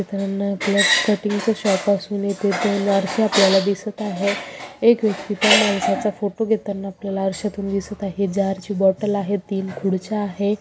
मीत्रांनो आपल्याला cutting shop असून इथे दोन आरसे आपल्याला दिसत आहे एक व्यक्ति त्या माणसाचा फोटो घेताना आपल्याला आरशातून दिसत आहे जारची बॉटल आहे तीन खुडच्या आहे.